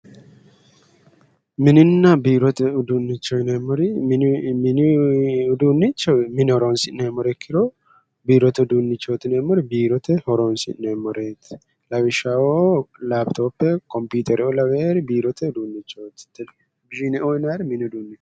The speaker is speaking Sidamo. Mininna biirote uduunicho yineemori mini uduunicho mine horosi'neemore imkiro biirote uduunichooti yineemori biirote horonisi'neemoreet lawishshaho lapitope comiputereoo lawori biirote uduunichooti tele o yinayir mini uduunichooti